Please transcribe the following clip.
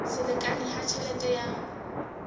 se lekane ha tjhelete ya